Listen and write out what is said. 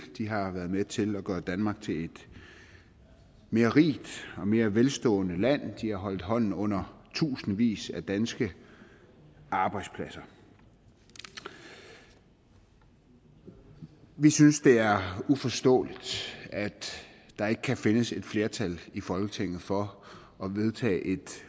har været med til at gøre danmark til et mere rigt og mere velstående land de har holdt hånden under tusindvis af danske arbejdspladser vi vi synes det er uforståeligt at der ikke kan findes et flertal i folketinget for at vedtage et